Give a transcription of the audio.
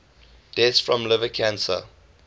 deaths from liver cancer